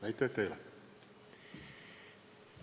Aitäh teile!